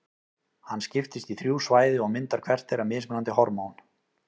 Hann skiptist í þrjú svæði og myndar hvert þeirra mismunandi hormón.